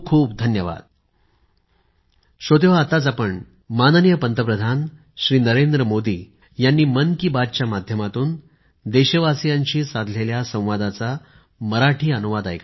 खूप खूप धन्यवाद